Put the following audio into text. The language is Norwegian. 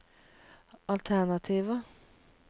alternativer